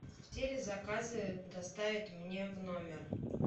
все ли заказы доставят мне в номер